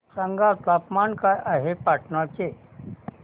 सांगा तापमान काय आहे पाटणा चे